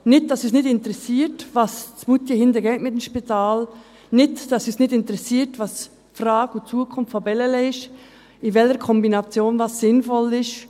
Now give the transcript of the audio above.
Nicht, dass es uns nicht interessiert, was in Moutier hinten mit dem Spital geschieht, nicht, dass es uns um die Frage und Zukunft von Bellelay nicht interessiert, welche Kombination sinnvoll ist;